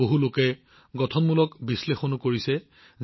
বহুলোকে গঠনমূলক বিশ্লেষণো আগবঢ়াইছে